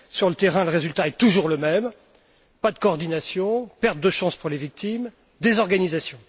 Sur le terrain, le résultat est toujours le même, pas de coordination, perte de chances pour les victimes, désorganisation.